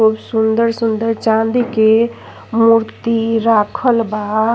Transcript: खूब सुन्दर सुन्दर चाँदी के मूर्ति राखल बा।